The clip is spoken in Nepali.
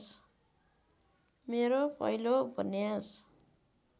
मेरो पहिलो उपन्यास